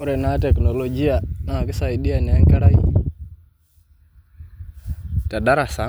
Ore ena teknolojia naa keisaidia naa enkerai te ldarasa,